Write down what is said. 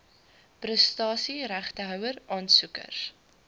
prestasie regtehouer aansoekers